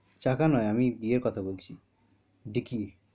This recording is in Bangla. চাকা নয় আমি ইয়ের কথা বলছি ডিকি,